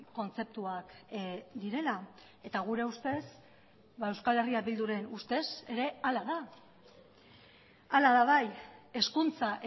kontzeptuak direla eta gure ustez euskal herria bilduren ustez ere hala da hala da bai hezkuntza